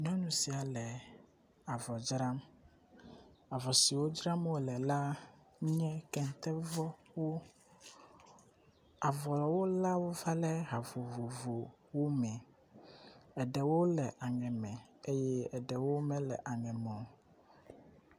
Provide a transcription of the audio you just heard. Nyɔnu sia le avɔ dzram avɔ siwo dzram wo le la nye ketevɔwo. Avɔwo la wova le ha vovovowo me eɖewo le aŋe me eye eɖewo mele aŋe me o.